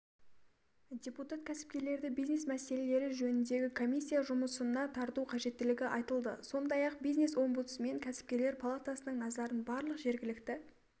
депутат-кәсіпкерлерді бизнес мәселелері жөніндегі комиссия жұмысына тарту қажеттілігі айтылды сондай-ақ бизнес-омбудсмен кәсіпкерлер палатасының назарын барлық жергілікті